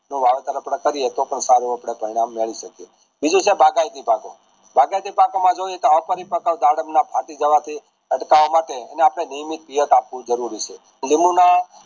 જો વાવટા કરીયે તોહ સારા પરિણામ મેળવી શકીયે બીજું છે બાગાયતી પાકો બાગાયતી પાકો માં જોયીયે તોહ દાડમ ના ફાટી જવા થી ફડકવા માટે એને આપણે નિયમિત આપવું જરૂરી છે લીંબુ ના